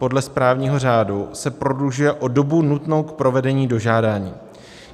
Podle správního řádu se prodlužuje o dobu nutnou k provedení dožádání.